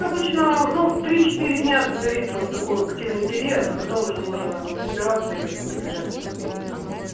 обычно ну три четыре дня длится вот такой активный период а потом уже можно собираться и быстренько бежать в клинику